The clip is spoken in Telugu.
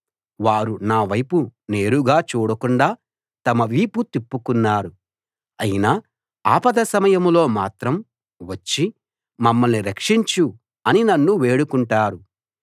వారు నా వైపు నేరుగా చూడకుండా తమ వీపు తిప్పుకున్నారు అయినా ఆపద సమయంలో మాత్రం వచ్చి మమ్మల్ని రక్షించు అని నన్ను వేడుకుంటారు